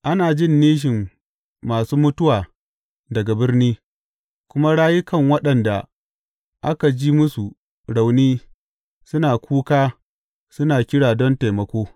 Ana jin nishin masu mutuwa daga birni, kuma rayukan waɗanda aka ji musu rauni suna kuka suna kira don taimako.